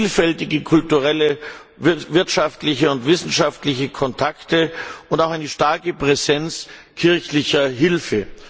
Es gibt vielfältige kulturelle, wirtschaftliche und wissenschaftliche Kontakte und auch eine starke Präsenz kirchlicher Hilfe.